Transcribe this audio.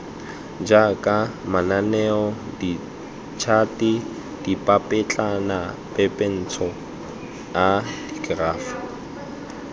jaaka mananeo ditšhate dipapetlanapepentsho dikerafo